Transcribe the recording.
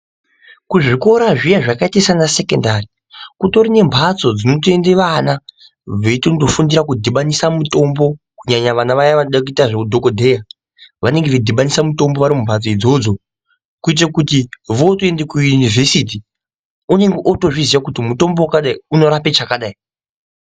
Kuzvikora zviye zvakaita sana sekondari kutori nembatso dzinotoende vana veitonofunda kudhibanisa mutombo kunyanya vana vaya vanoda kuita zveudhokodheya, vanenge veidhibanisa mitombo vari mumbatso idzodzo, kuitira kuti votoende kuyunivhesiti unenge otozviziva kuti mutombo wakadai unorape chakadai.